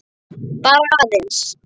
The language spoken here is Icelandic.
Bara aðeins.